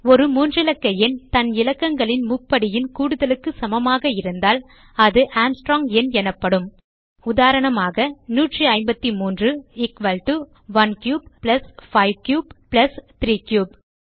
ஒரு மூன்றிலக்க எண் தன் இலக்கங்களின் முப்படியின் கூடுதலுக்கு சமமாக இருந்தால் அது ஆர்ம்ஸ்ட்ராங் எண் எனப்படும் உதாரணமாக 153 is equal to 1 cube plus 5 cube plus 3 cube